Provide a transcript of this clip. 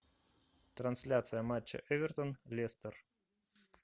трансляция матча эвертон лестер